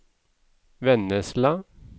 Vennesla